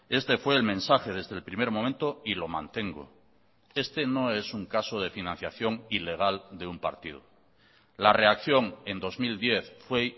este fue el mensaje desde el primer momento y lo mantengo este no es un caso de financiación ilegal de un partido la reacción en dos mil diez fue